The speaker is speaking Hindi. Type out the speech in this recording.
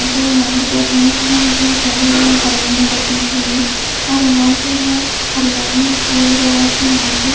जो यहां पे दो भेस है जो थैर है पानी में बैठने के लिए और यहां पे है हरियाली पूरी तरह से यहां पे--